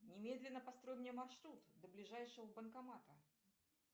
немедленно построй мне маршрут до ближайшего банкомата